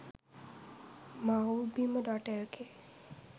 mawbima.lk